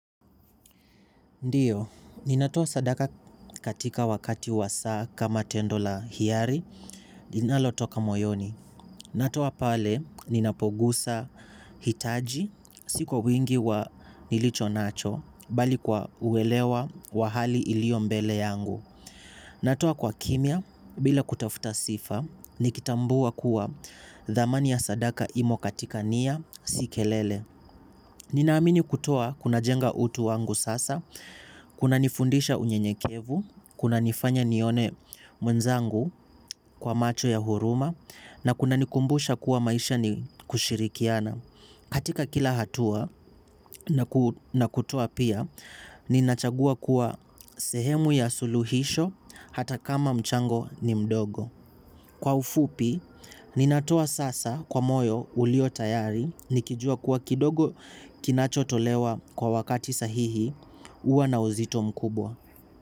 Ndiyo, ninatoa sadaka katika wakati wa saa kama tendo la hiari, linalo toka moyoni. Natoa pale, ninapogusa hitaji, si kwa wingi wa nilicho nacho, bali kwa uwelewa wa hali ilio mbele yangu. Natoa kwa kimya, bila kutafuta sifa, nikitambua kuwa dhamani ya sadaka imo katika nia, si kelele. Ninaamini kutoa kunajenga utu wangu sasa, kunanifundisha unyenyekevu, kunanifanya nione mwenzangu kwa macho ya huruma, na kunanikumbusha kuwa maisha ni kushirikiana. Katika kila hatua na kutoa pia, ninachagua kuwa sehemu ya suluhisho hata kama mchango ni mdogo. Kwa ufupi, ninatoa sasa kwa moyo uliyotayari nikijua kuwa kidogo kinachotolewa kwa wakati sahihi huwa na uzito mkubwa.